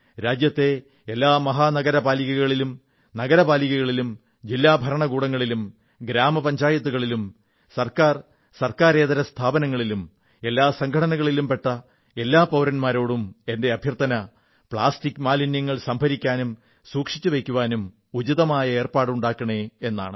രാജ്യത്തെ എല്ലാ മഹാനഗരപാലികകളിലും നഗരപാലികകളിലും ജില്ലാ ഭരണകൂടങ്ങളിലും ഗ്രാമപഞ്ചായത്തുകളിലും ഗവൺമെന്റ് ഗവൺമെന്റ് ഇതര സ്ഥാപനങ്ങളിലും എല്ലാ സംഘടനകളിലും പെട്ട എല്ലാ പൌരൻമാരോടും എന്റെ അഭ്യർഥന പ്ലാസ്റ്റിക് മാലിന്യങ്ങൾ സംഭരിക്കാനും സൂക്ഷിച്ചുവയ്ക്കാനും ഉചിതമായ ഏർപ്പാടുണ്ടാക്കണേ എന്നാണ്